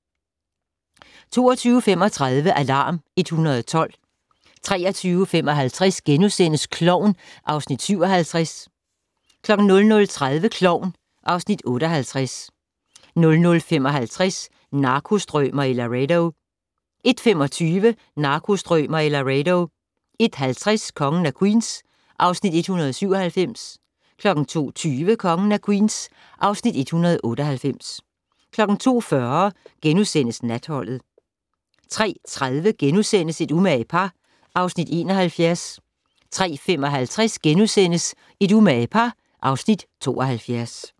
22:35: Alarm 112 23:55: Klovn (Afs. 57)* 00:30: Klovn (Afs. 58) 00:55: Narkostrømer i Laredo 01:25: Narkostrømer i Laredo 01:50: Kongen af Queens (Afs. 197) 02:20: Kongen af Queens (Afs. 198) 02:40: Natholdet * 03:30: Et umage par (Afs. 71)* 03:55: Et umage par (Afs. 72)*